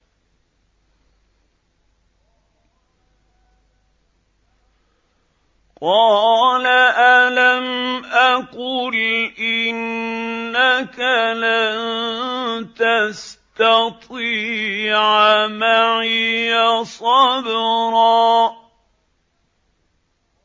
قَالَ أَلَمْ أَقُلْ إِنَّكَ لَن تَسْتَطِيعَ مَعِيَ صَبْرًا